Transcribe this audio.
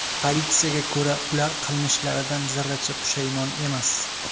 Politsiyaga ko‘ra, ular qilmishlaridan zarracha pushaymon emas.